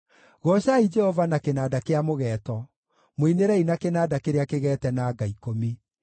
Goocai Jehova na kĩnanda kĩa mũgeeto; mũinĩrei na kĩnanda kĩrĩa kĩgeete na nga ikũmi.